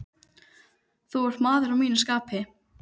Þú ert maður að mínu skapi.